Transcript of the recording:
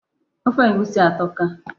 Ofe egusi a atọka.